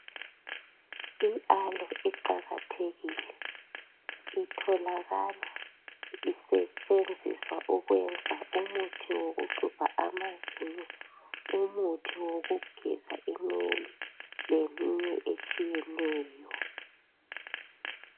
IAloe iqakathekile, itholakala isetshenziswa ukwenza umuthi wokuxhubha amazinyo, umuthi wokugeza inwele leminye etshiyeneyo.